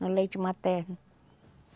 No leite materno.